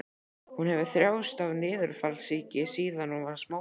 Hún hefur þjáðst af niðurfallssýki síðan hún var smábarn.